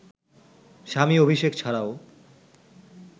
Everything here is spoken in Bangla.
স্বামী অভিষেক ছাড়াও